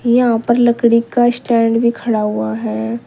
यहाँ ऊपर लकड़ी का स्टैंड भी खड़ा हुआ है।